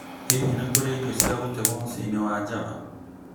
Hihi nĩ kũrĩ irio cia gũtegwo mũciĩ-inĩ wa Java?